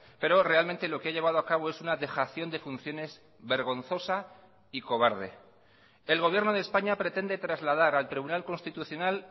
pero realmente lo que ha llevado a cabo es una dejación de funciones vergonzosa y cobarde el gobierno de españa pretende trasladar al tribunal constitucional